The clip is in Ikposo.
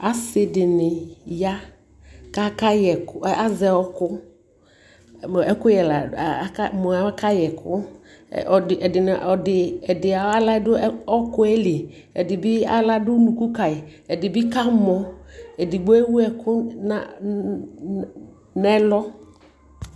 asii dini ya kʋ aka yɛkʋazɛ ɔkʋ, mʋ aka yɛkʋ, ɛdi ayi ala dʋ ɔkʋɛli, ɛdibi ala dʋ ʋnʋkʋ kayi, ɛdibi kamɔ, ɛdigbɔ ɛwʋ ɛkʋ nʋ ɛlɔ